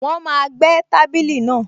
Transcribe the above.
Wọ́n máa gbẹ́ tábìlì náà